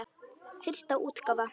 Fyrsta útgáfa.